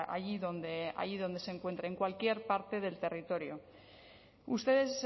allí donde se encuentre en cualquier parte del territorio ustedes